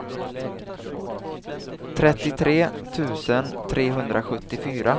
trettiotre tusen trehundrasjuttiofyra